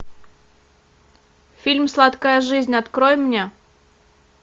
фильм сладкая жизнь открой мне